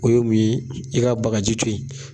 O ye mun ye i ka bagaji to yen